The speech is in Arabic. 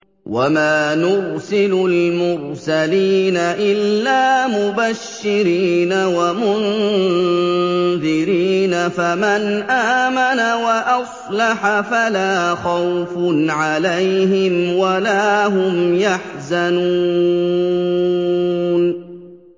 وَمَا نُرْسِلُ الْمُرْسَلِينَ إِلَّا مُبَشِّرِينَ وَمُنذِرِينَ ۖ فَمَنْ آمَنَ وَأَصْلَحَ فَلَا خَوْفٌ عَلَيْهِمْ وَلَا هُمْ يَحْزَنُونَ